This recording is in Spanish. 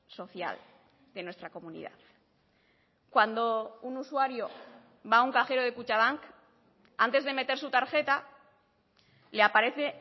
social de nuestra comunidad cuando un usuario va a un cajero de kutxabank antes de meter su tarjeta le aparece